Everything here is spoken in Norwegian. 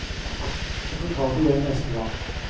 Vi får ta det igjen neste gang.